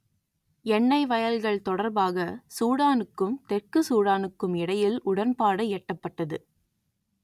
எண்ணெய் வயல்கள் தொடர்பாக சூடானுக்கும் தெற்கு சூடானுக்கும் இடையில் உடன்பாடு எட்டப்பட்டது